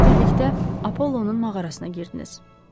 Siz birlikdə Apollonun mağarasına girdiniz.